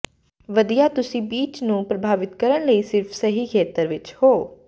ਵਧੀਆ ਤੁਸੀਂ ਬੀਚ ਨੂੰ ਪ੍ਰਭਾਵਿਤ ਕਰਨ ਲਈ ਸਿਰਫ ਸਹੀ ਖੇਤਰ ਵਿਚ ਹੋ